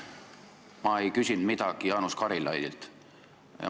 Ma ei küsinud midagi Jaanus Karilaidilt.